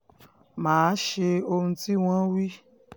má a ṣe ohun tí wọ́n wí